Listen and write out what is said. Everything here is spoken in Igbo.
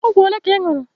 Ọgwụ ole ka ị ñụrụ?